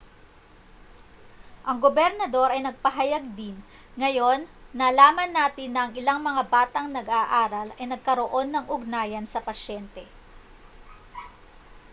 ang gobernador ay nagpahayag din ngayon nalaman natin na ang ilang mga batang nag-aaral ay nagkaroon ng ugnayan sa pasyente